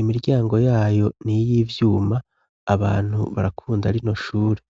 imiryango yayo niy'ivyuma, abantu barakunda rino shure.